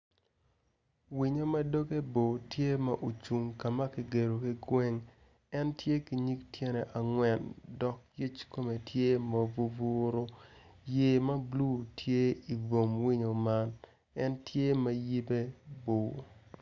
Winyo ma dogge por tye ma ocung kama ki geddo ki gweng en tye ki nyig tyene angwen dok kume tye ma vuvuru yet ma bulu tye ibwom winyo man en tye ma yibe bor